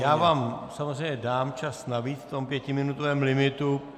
Já vám samozřejmě dám čas navíc v tom pětiminutovém limitu.